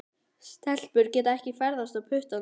Stelpur geta ekki ferðast á puttanum.